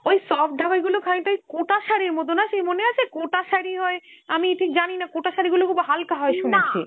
ওই soft ঢাকাই গুলো খানিকটা ওই কোটার শাড়ির মতো না, সেই মনে আছে কোটা শাড়ি হয়, আমি ঠিক জানি না কোটা শাড়িগুলো খুব হালকা হয় শুনেছি